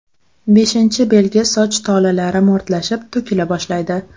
Beshinchi belgi soch tolalari mo‘rtlashib, to‘kila boshlaydi.